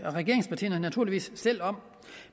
regeringspartierne naturligvis selv om